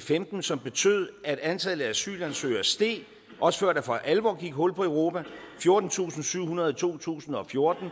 femten som betød at antallet af asylansøgere steg også før der for alvor gik hul på europa fjortentusinde og syvhundrede i to tusind og fjorten